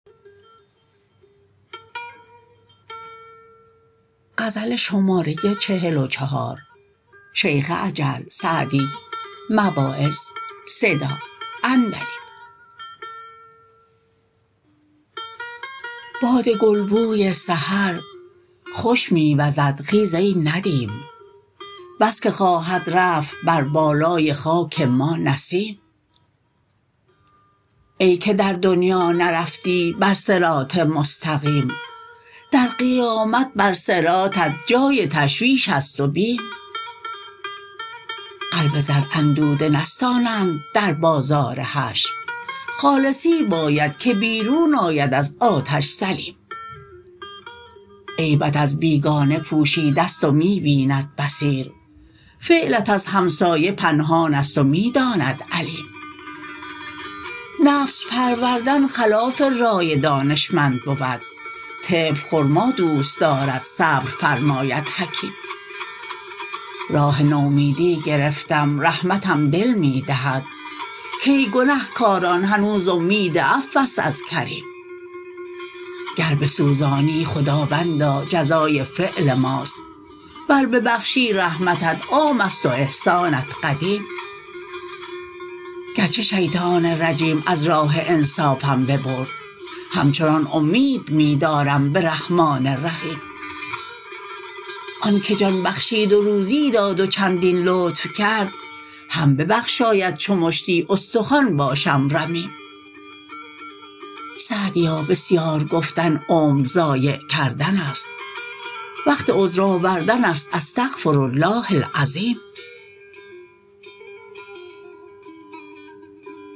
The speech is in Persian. باد گلبوی سحر خوش می وزد خیز ای ندیم بس که خواهد رفت بر بالای خاک ما نسیم ای که در دنیا نرفتی بر صراط مستقیم در قیامت بر صراطت جای تشویش است و بیم قلب زر اندوده نستانند در بازار حشر خالصی باید که بیرون آید از آتش سلیم عیبت از بیگانه پوشیده ست و می بیند بصیر فعلت از همسایه پنهان است و می داند علیم نفس پروردن خلاف رای دانشمند بود طفل خرما دوست دارد صبر فرماید حکیم راه نومیدی گرفتم رحمتم دل می دهد کای گنه کاران هنوز امید عفو است از کریم گر بسوزانی خداوندا جزای فعل ماست ور ببخشی رحمتت عام است و احسانت قدیم گرچه شیطان رجیم از راه انصافم ببرد همچنان امید می دارم به رحمان رحیم آن که جان بخشید و روزی داد و چندین لطف کرد هم ببخشاید چو مشتی استخوان باشم رمیم سعدیا بسیار گفتن عمر ضایع کردن است وقت عذر آوردن است استغفرالله العظیم